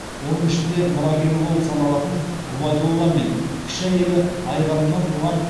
оның ішінде мұрагері болып саналатын ғұбайдолла мен кіші әйелі айғанымнан туған